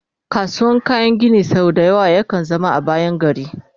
kasuwar kayan Gini sau da yawa ya kan zama a bayan gari